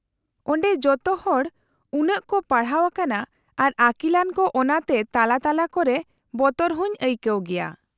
-ᱚᱸᱰᱮ ᱡᱚᱛᱚ ᱦᱚᱲ ᱩᱱᱟᱹᱜ ᱠᱚ ᱯᱟᱲᱦᱟᱣ ᱟᱠᱟᱱᱟ, ᱟᱨ ᱟᱠᱤᱞᱟᱱ ᱠᱚ ᱚᱱᱟ ᱛᱮ ᱛᱟᱞᱟ ᱛᱟᱞᱟ ᱠᱚᱨᱮ ᱵᱚᱛᱚᱨ ᱦᱚᱸᱧ ᱟᱹᱭᱠᱟᱹᱣ ᱜᱮᱭᱟ ᱾